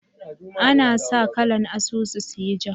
Ana sa kalan asusu su yi ja